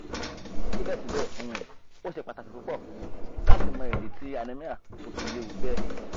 sibẹsibẹ um o ṣe pataki pupọ lati mọ idi ti anemia to fi lewu bẹ